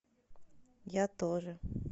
я тоже